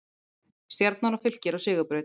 Stjarnan og Fylkir á sigurbraut